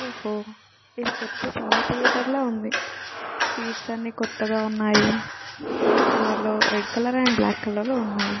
ఒహ్హ ఇది కొత్త cinema theatre లా ఉంది . సీట్స్ అన్నీ కొత్తగా ఉన్నాయి . రెడ్ కలర్ లో red colour and black colour లో ఉన్నాయి .